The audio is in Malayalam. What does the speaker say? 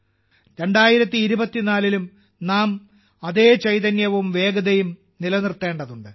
2024 ലും നാം അതേ ചൈതന്യവും വേഗതയും നിലനിർത്തേണ്ടതുണ്ട്